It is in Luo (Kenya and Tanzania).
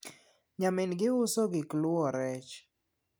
nyamin gi uso gik luwo rech